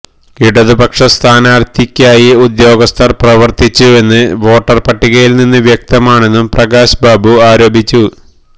ഇടതുപക്ഷ സ്ഥാനാർത്ഥിക്കായി ഉദ്യോഗസ്ഥർ പ്രവർത്തിച്ചുവെന്ന് വോട്ടർ പട്ടികയിൽ നിന്ന് വ്യക്തമാണെന്നും പ്രകാശ് ബാബു ആരോപിച്ചു